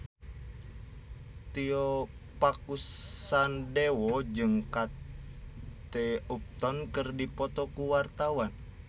Tio Pakusadewo jeung Kate Upton keur dipoto ku wartawan